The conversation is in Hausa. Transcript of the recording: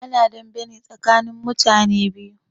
Ana dame ne tsakanin mutane biyu